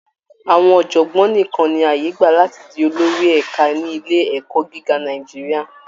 Àwọn ọ̀jọ̀gbọ́n nìkan ni àyè gbà láti di olórí ẹ̀ka ní ilé ẹ̀kọ́ gíga Nàìjíríà